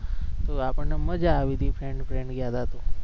તો આપણ ને મજા આવી હતી friend friend ગયા હતા તો